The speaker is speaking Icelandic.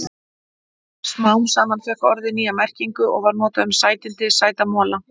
Smám saman fékk orðið nýja merkingu og var notað um sætindi, sæta mola.